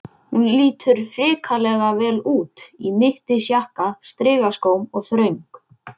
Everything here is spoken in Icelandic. Hún lítur hrikalega vel út, í mittisjakka, strigaskóm og þröng